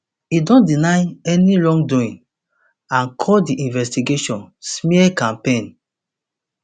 e don deny any wrongdoing and call di investigation smear campaign